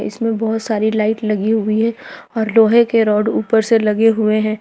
इसमें बहोत सारी लाइट लगी हुई है और लोहे के राड ऊपर से लगे हुए हैं।